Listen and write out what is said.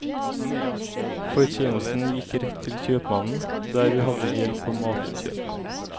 Fortjenesten gikk rett til kjøpmannen, der vi hadde gjeld på matinnkjøp.